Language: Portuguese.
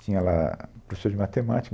Tinha lá professor de matemática.